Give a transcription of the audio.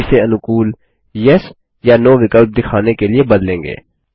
हम इसे अनुकूल येस या नो विकल्प दिखाने के लिए बदलेंगे